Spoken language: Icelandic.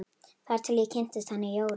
Þar til ég kynntist henni Jóru.